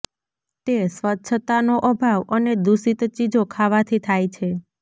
તે સ્વચ્છતાનો અભાવ અને દૂષિત ચીજો ખાવાથી થાય છે